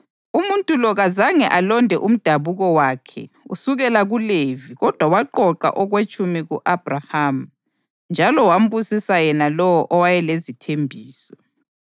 Umuntu lo kazange alonde umdabuko wakhe usukela kuLevi kodwa waqoqa okwetshumi ku-Abhrahama njalo wambusisa yena lowo owayelezithembiso.